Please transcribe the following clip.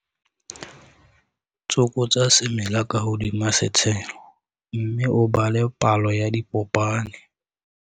Tsokotsa semela ka hodima setshelo, mme o bale palo ya dipopane.